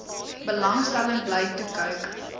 belangstelling bly toekyk